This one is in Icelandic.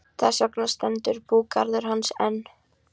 Þess vegna stendur búgarður hans enn.